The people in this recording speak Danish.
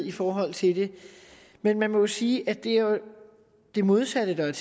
i forhold til det men man må jo sige at det er det modsatte der er